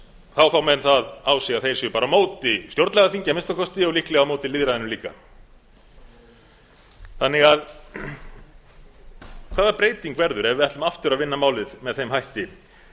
þá fá menn það á sig að þeir séu bara á móti stjórnlagaþingi að minnsta kosti og líklega á móti lýðræðinu líka hvaða breyting verður ef við ætlum aftur að vinna málið með þeim hætti